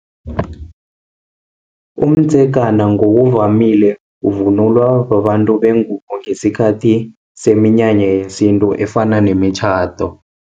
Umdzegana, ngokuvamile ivunulwa babantu bengubo, ngesikhathi seminyanya yesintu efana nemitjhado.